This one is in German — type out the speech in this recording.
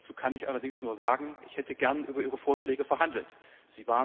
Dazu kann ich allerdings nur sagen, dass ich gerne über ihre Vorschläge verhandelt